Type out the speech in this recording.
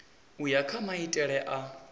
u ya kha maitele a